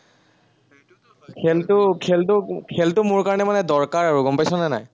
খেলটা খেলটো খেলটো মোৰ কাৰনে মানে দৰকাৰ আৰু গম পাইছনে নাই?